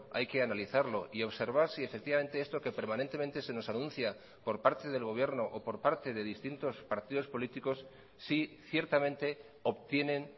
hay que analizarlo y observar si efectivamente esto que permanentemente se nos anuncia por parte del gobierno o por parte de distintos partidos políticos si ciertamente obtienen